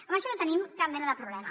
amb això no hi tenim cap mena de problema